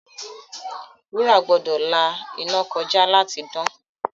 Wúrà gbọ́dọ̀ la iná kọjá láti dán.